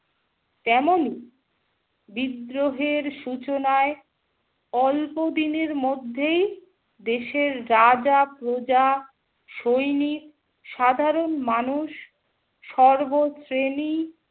তেমনই বিদ্রোহের সূচনায় অল্প দিনের মধ্যেই দেশের রাজা-প্রজা, সৈনিক, সাধারণ মানুষ, সর্ব শ্রেণী